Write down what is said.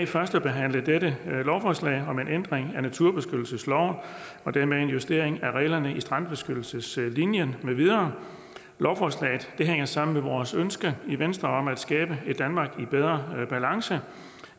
førstebehandle dette lovforslag om en ændring af naturbeskyttelsesloven og dermed en justering af reglerne om strandbeskyttelseslinjen med videre lovforslaget hænger sammen med vores ønske i venstre om at skabe et danmark i bedre balance